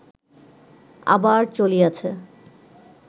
আবার চলিয়াছে